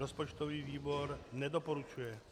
Rozpočtový výbor nedoporučuje.